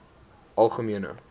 algemene